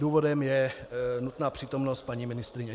Důvodem je nutná přítomnost paní ministryně.